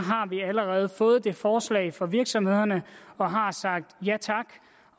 vi allerede fået det forslag fra virksomhederne og har sagt ja tak